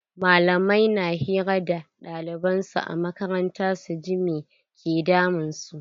Malamai na hira da ɗaliban su a makaranta su ji me ke damun su.